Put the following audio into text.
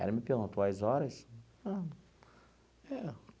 Ela me perguntou as horas.